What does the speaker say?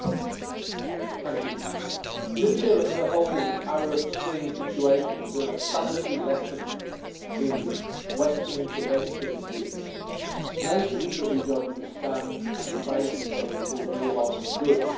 Madam President, Libya and the whole Arab Spring situation is a salutary lesson in Western intervention into nations that we don't understand and places where we cause more harm than good.